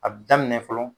A bi daminɛ fɔlɔ